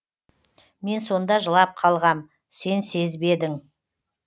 мен сонда жылап қалғам сен сезбедің